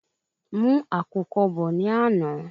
Mu Àkùkọ bọ ni àná